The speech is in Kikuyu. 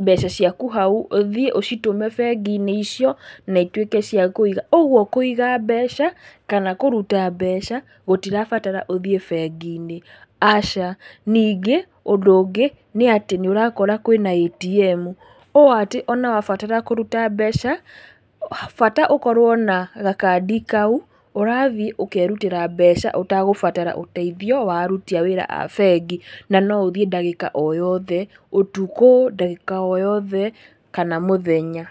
mbeca ciaku hau, ũthiĩ ũcitũme bengi-inĩ icio, na ituĩke cia kũiga. Ũguo kũiga mbeca, kana kũruta mbeca, gũtirabatara ũthiĩ bengi-inĩ, aca. Ningĩ, ũndũ ũngĩ, nĩ atĩ nĩ ũrakora kwĩna ATM, ũũ atĩ, ona wabatara kũruta mbeca, bata ũkorwo na gakandi kau, ũrathiĩ ũkerutĩra mbeca, ũtegũbatara ũteithio wa aruti a wĩra a bengi, na noũthiĩ ndagĩka o yothe, ũtukũ, ndagĩka o yothe, kana mũthenya.